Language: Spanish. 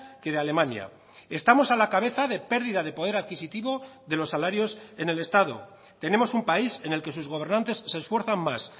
que de alemania estamos a la cabeza de pérdida de poder adquisitivo de los salarios en el estado tenemos un país en el que sus gobernantes se esfuerzan más